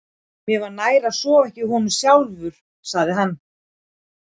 Mér var nær að sofa ekki í honum sjálfur, sagði hann.